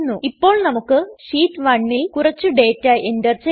ഇപ്പോൾ നമുക്ക് ഷീറ്റ് 1ൽ കുറച്ച് ഡേറ്റ എൻറർ ചെയ്യാം